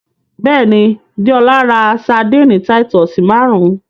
Bẹ́ẹ̀ni, Dẹ́ọla rá Sárḍíńí Títùsí márùn.